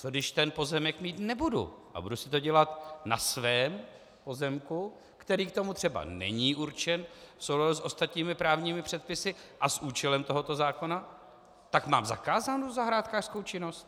Co když ten pozemek mít nebudu a budu si to dělat na svém pozemku, který k tomu třeba není určen v souladu s ostatními právními předpisy a s účelem tohoto zákona, tak mám zakázanou zahrádkářskou činnost?